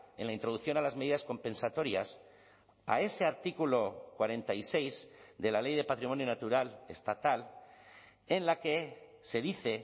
en la introducción a las medidas compensatorias a ese artículo cuarenta y seis de la ley de patrimonio natural estatal en la que se dice